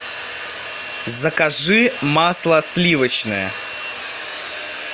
закажи масло сливочное